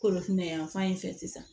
Kolofinɛ yanfan in fɛ sisan